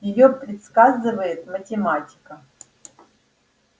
её предсказывает математика